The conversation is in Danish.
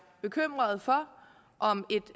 bekymrede for